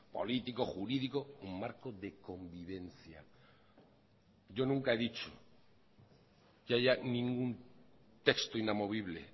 político jurídico un marco de convivencia yo nunca he dicho que haya ningún texto inamovible